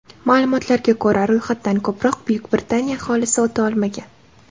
Ma’lumotlarga ko‘ra, ro‘yxatdan ko‘proq Buyuk Britaniya aholisi o‘ta olmagan.